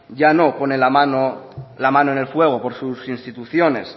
ya no pone la mano en el fuego por sus instituciones